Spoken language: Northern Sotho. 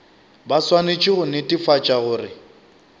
ba swanetše go netefatša gore